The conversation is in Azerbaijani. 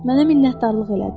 Mənə minnətdarlıq elədi.